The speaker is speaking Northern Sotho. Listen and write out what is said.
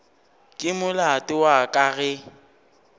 ke molato wa ka ge